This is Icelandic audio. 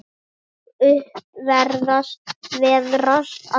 Ég upp veðrast allur.